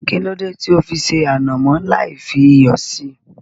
Kílódé tí ó fi ṣé ànàmọ́ lai fi iyọ̀ síí